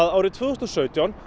árið tvö þúsund og sautján